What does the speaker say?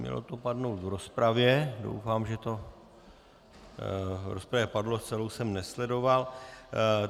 Mělo to padnout v rozpravě, doufám, že to v rozpravě padlo, celou jsem nesledoval.